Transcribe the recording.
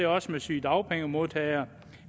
også sygedagpengemodtagere